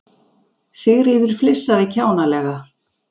Sigríður flissaði kjánalega.